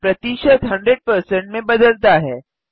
प्रतिशत 100 में बदलता है